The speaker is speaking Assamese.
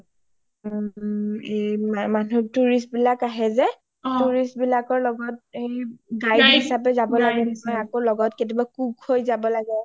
মানুহ tourist বিলাক আহে যে tourist বিলাকৰ লগত guide হিচাপে যাব লাগে ন আকৌ কেতিয়াবা লগত cook হয় যাব লাগে